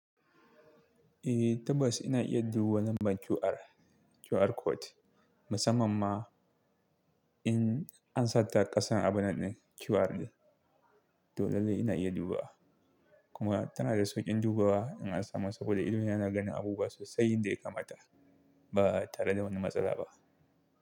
Eh tabbas ina iya duba lambar QR, QR code musamman ma in an sa ta ƙasan abu na ɗin QR ne, to lallai ina iya dubawa. Kuma tana da sauƙin dubawa in an samu saboda idona yana ganin abubuwa sosai yanda ya kamata ba tare da wani matsala ba.